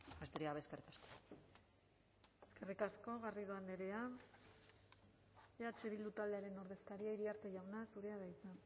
besterik gabe eskerrik asko eskerrik asko garrido andrea eh bildu taldearen ordezkaria iriarte jauna zurea da hitza